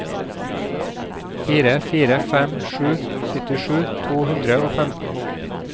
fire fire fem sju syttisju to hundre og femten